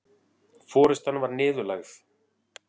Forystan var niðurlægð